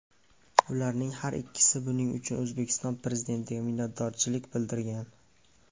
Ularning har ikkisi buning uchun O‘zbekiston Prezidentiga minnatdorchilik bildirgan.